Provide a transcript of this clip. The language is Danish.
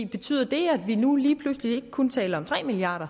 betyder det at vi nu lige pludselig ikke kun taler om tre milliard